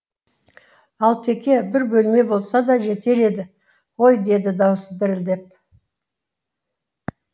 алтеке бір бөлме болса да жетер еді ғой деді даусы дірілдеп